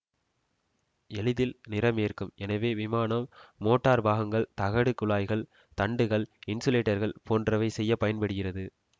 எளிதில் நிறம் ஏற்கும் எனவே விமானம் மொட்டார் பாகங்கள் தகடு குழாய்கள் தண்டுகள் இன்சுலேட்டர்கள் போன்றவை செய்ய பயன்படுகிறது